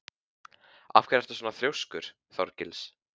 Af hverju ertu svona þrjóskur, Þorgils?